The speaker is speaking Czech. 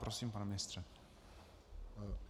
Prosím, pane ministře.